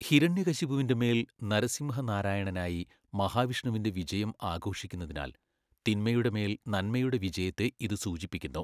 ഹിരണ്യകശിപുവിൻ്റെ മേൽ നരസിംഹ നാരായണനായി മഹാവിഷ്ണുവിൻ്റെ വിജയം ആഘോഷിക്കുന്നതിനാൽ, തിന്മയുടെ മേൽ നന്മയുടെ വിജയത്തെ ഇത് സൂചിപ്പിക്കുന്നു.